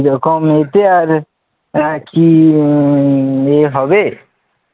এরকম মেপে আর কি উম আর হবে,